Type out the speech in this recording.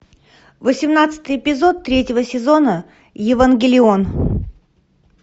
восемнадцатый эпизод третьего сезона евангелион